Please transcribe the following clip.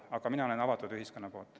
Aga mina olen avatud ühiskonna poolt.